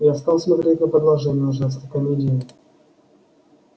я стал смотреть на продолжение ужасной комедии